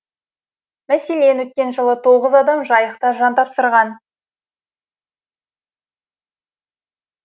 мәселен өткен жылы тоғыз адам жайықта жан тапсырған